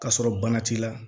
K'a sɔrɔ bana t'i la